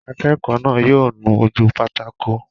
Akẹ́kọ̀ọ́ náà yóò nu ojú pátákó